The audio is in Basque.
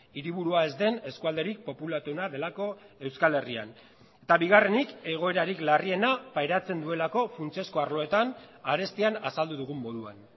hiriburua ez den eskualderik populatuena delako euskal herrian eta bigarrenik egoerarik larriena pairatzen duelako funtsezko arloetan arestian azaldu dugun moduan